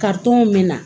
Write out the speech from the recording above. min na